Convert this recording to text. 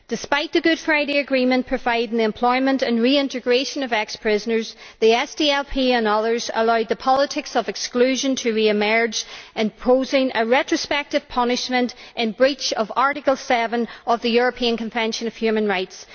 Despite the Good Friday Agreement providing for the employment and reintegration of ex prisoners, the SDLP and others have allowed the politics of exclusion to re emerge, imposing a retrospective punishment in breach of Article 7 of the European Convention on Human Rights.